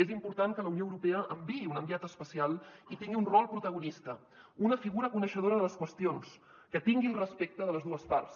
és important que la unió europea enviï un enviat especial i tingui un rol protagonista una figura coneixedora de les qüestions que tingui el respecte de les dues parts